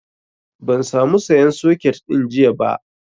Ban sa mu sayan soket ɗin jiya ba